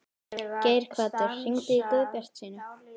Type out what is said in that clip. Geirhvatur, hringdu í Guðbjartsínu.